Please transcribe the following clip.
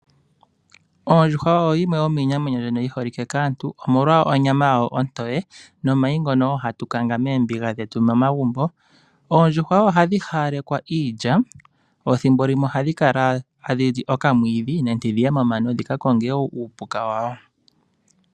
Ondjuhwa oyo yimwe yomiinamwenyo mbyono yi holike kaantu omolwa onyama yayo ontowe, nomayi ngono hatu kanga moombiga dhetu momagumbo. Oondjuhwa ohadhi hawalekwa iilya, thimbo limwe ohadhi kala tadhi li okamwiidhi nenge dhi ye wo momano, dhi ka konge uupuka wadho.